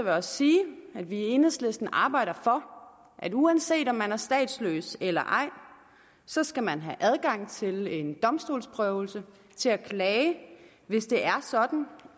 jeg også sige at vi i enhedslisten arbejder for at uanset om man er statsløs eller ej så skal man have adgang til en domstolsprøvelse til at klage hvis det er sådan